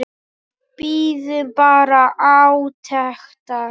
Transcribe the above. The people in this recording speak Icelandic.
Við bíðum bara átekta.